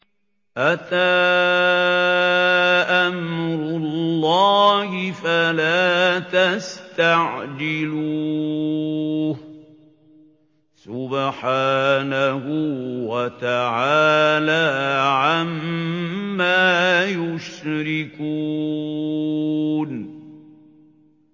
أَتَىٰ أَمْرُ اللَّهِ فَلَا تَسْتَعْجِلُوهُ ۚ سُبْحَانَهُ وَتَعَالَىٰ عَمَّا يُشْرِكُونَ